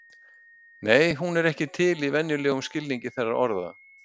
Nei, hún er ekki til í venjulegum skilningi þeirra orða.